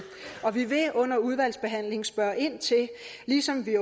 og vi vil under udvalgsbehandlingen spørge ind til det ligesom vi